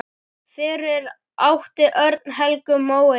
Fyrir átti Örn Helgu Móeiði.